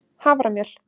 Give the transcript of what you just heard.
haframjöl